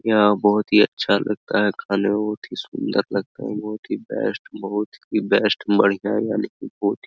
यहाँ बहुत ही अच्छा लगता है खाने मे बहुत ही सुंदर लगता है बहुत ही बेस्ट बहुत ही बेस्ट बढ़िया है यहाँ लेकिन बहुत --